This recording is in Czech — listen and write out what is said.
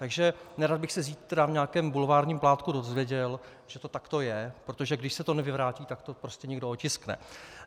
Takže nerad bych se zítra v nějakém bulvárním plátku dozvěděl, že to takto je, protože když se to nevyvrátí, tak to prostě někdo otiskne.